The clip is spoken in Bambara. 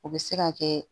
O bɛ se ka kɛ